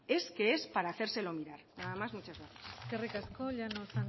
es que es para hacérselo mirar nada más muchas gracias eskerrik asko llanos